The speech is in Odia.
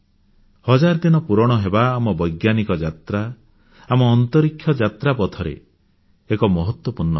ହଜାର ଦିନ ପୂରଣ ହେବା ଆମ ବୈଜ୍ଞାନିକ ଯାତ୍ରା ଆମ ଅନ୍ତରୀକ୍ଷ ଯାତ୍ରା ପଥରେ ଏକ ମହତ୍ୱପୂର୍ଣ୍ଣ ଘଟଣା